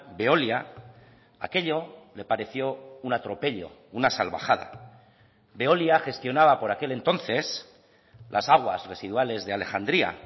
veolia aquello le pareció un atropello una salvajada veolia gestionaba por aquel entonces las aguas residuales de alejandría